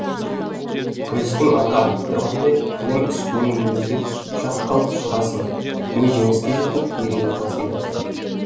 күрестің аты айтып тұрғандай кілем үстінен өлуге шақ қалып шығасың не жеңіске жетіп мерейің тасиды